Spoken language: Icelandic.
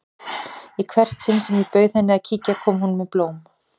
Í hvert sinn sem ég bauð henni að kíkja kom hún með blóm.